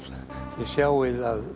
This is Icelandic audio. þið sjáið að